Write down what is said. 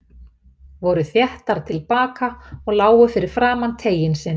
Voru þéttar til baka og lágu fyrir framan teiginn sinn.